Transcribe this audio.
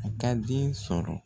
A ka den sɔrɔ.